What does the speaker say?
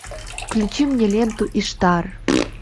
включи мне ленту иштар